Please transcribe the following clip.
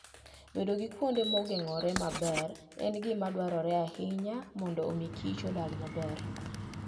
Bedo gi kuonde ma ogeng'ore maber en gima dwarore ahinya mondo omi kich odag maber.